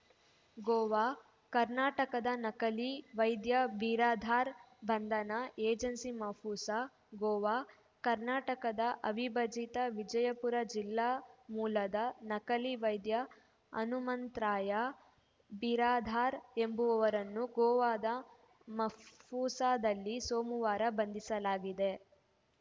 ಗೋವಾ ಕರ್ನಾಟಕದ ನಕಲಿ ವೈದ್ಯ ಬಿರಾದಾರ್‌ ಬಂಧನ ಏಜೆನ್ಸಿ ಮಾಪುಸಾ ಗೋವಾ ಕರ್ನಾಟಕದ ಅವಿಭಜಿತ ವಿಜಯಪುರ ಜಿಲ್ಲಾ ಮೂಲದ ನಕಲಿ ವೈದ್ಯ ಹನುಮಂತ್ರಾಯ ಬಿರಾದಾರ ಎಂಬುವರನ್ನು ಗೋವಾದ ಮಾಪುಸಾದಲ್ಲಿ ಸೋಮವಾರ ಬಂಧಿಸಲಾಗಿದೆ